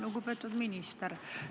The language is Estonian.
Lugupeetud minister!